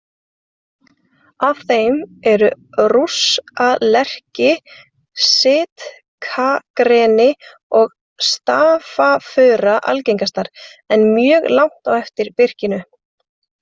Af þeim eru rússalerki, sitkagreni og stafafura algengastar, en mjög langt á eftir birkinu.